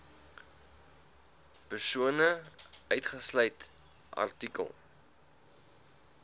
persone uitgesluit artikel